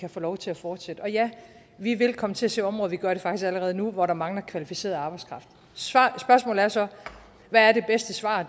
kan få lov til at fortsætte og ja vi vil komme til at se områder og vi gør det faktisk allerede nu hvor der mangler kvalificeret arbejdskraft spørgsmålet er så hvad det bedste svar